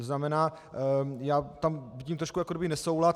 To znamená, já tam vidím trošku jakoby nesoulad.